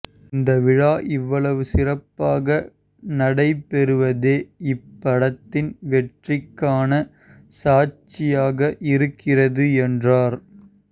இந்த விழா இவ்வளவு சிறப்பாக நடைபெறுவதே இப்படத்தின் வெற்றிக்கான சாட்சியாக இருக்கிறது என்றார்